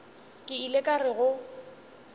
ke ile ka re go